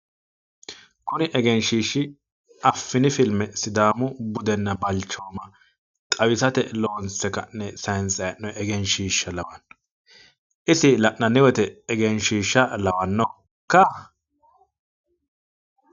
kuri egenshiishshi maa kulanno? affini filmme budenna balchooma xawisate loonse ka'ne saayiinsayi hee'noyi egenshshiishsha lawanno isi la'ananni wote egenshiishsha lawannokka?